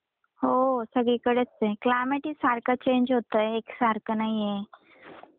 हो, सगळीकडेच आहे क्लायमेट ही सारख चेंज होतंय एकसारख नाहीये.